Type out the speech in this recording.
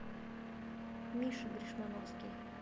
миша гришмановский